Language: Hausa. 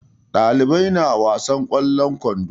Ɗalibai na wasan ƙwallon kwando.